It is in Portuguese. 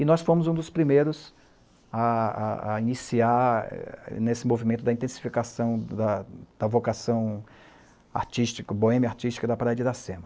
E nós fomos um dos primeiros a a a iniciar nesse movimento da intensificação da da vocação artística, boêmia artística da Praia de Iracema.